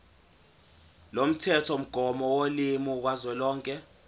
lomthethomgomo wolimi kazwelonke